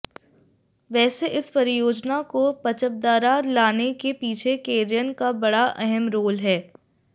वैसे इस परियोजना को पचपदरा लाने के पीछे केयर्न का बड़ा अहम रोल है